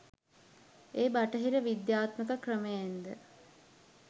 ඒ බටහිර විද්‍යාත්මක ක්‍රමයෙන්ද